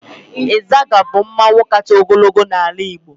Ịzaga bụ mmọnwụ kacha ogologo n'ala Igbo.